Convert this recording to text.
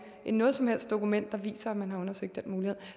noget som helst dokument der viser at man har undersøgt